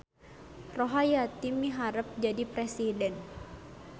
Rohayati miharep jadi presiden